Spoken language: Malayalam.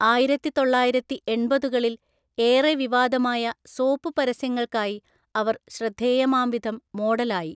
ആയിരത്തിതൊള്ളായിരത്തിഎണ്‍പതുകളിൽ ഏറെ വിവാദമായ സോപ്പ് പരസ്യങ്ങൾക്കായി അവര്‍ ശ്രദ്ധേയമാംവിധം മോഡലായി.